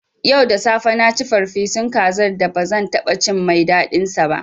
Yau da safe na ci farfesun kazar da ba zan taɓa cin mai daɗinsa ba.